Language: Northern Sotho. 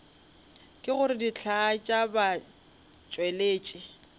ke gore dihlaa tša batšweletši